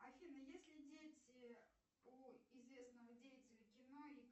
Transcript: афина есть ли дети у известного деятеля кино